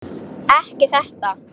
Ekki þetta.